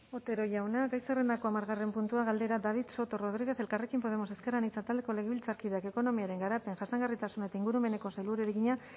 otero jauna gai zerrendako hamargarren puntua galdera david soto rodríguez elkarrekin podemos ezker anitza taldeko legebiltzarkideak ekonomiaren garapen jasangarritasun eta ingurumeneko sailburuari egina